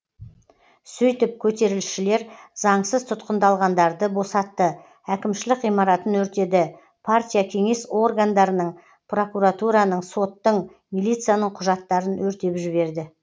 сөйтіп көтерілісшілер заңсыз тұтқындалғандарды босатты әкімшілік ғимаратын өртеді партия кеңес органдарының прокуратураның соттың милицияның құжаттарын өртеп жіберді